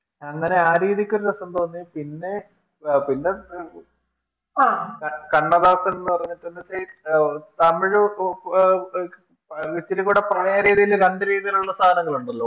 അങ്ങനെ ആ രീതിക്കൊരു രസം തോന്നി പിന്നെ ആഹ് കണ്ണദാസൻ എന്നുപറഞ്ഞട്ടു മറ്റേ തമിഴു ഇച്ചിരികുടെ പ്രണയ രീതിയിൽ രണ്ടുരീതിയിലുള്ള സാധനങ്ങളുണ്ടല്ലോ